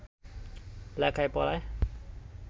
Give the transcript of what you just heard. লেখায় পড়ায়